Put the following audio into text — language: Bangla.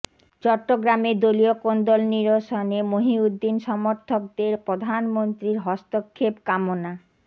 চট্টগ্রামে দলীয় কোন্দল নিরসনে মহিউদ্দিন সমর্থকদের প্রধানমন্ত্রীর হস্তক্ষেপ কামনা